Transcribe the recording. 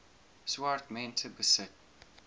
swart mense besit